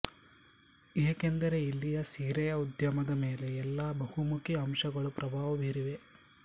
ಏಕೆಂದರೆ ಇಲ್ಲಿಯ ಸೀರೆಯ ಉದ್ಯಮದ ಮೇಲೆ ಈ ಎಲ್ಲ ಬಹುಮುಖಿ ಅಂಶಗಳು ಪ್ರಭಾವ ಬೀರಿವೆ